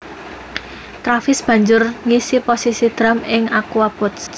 Travis banjur ngisi posisi drum ing The Aquabats